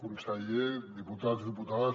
consellers diputats i diputades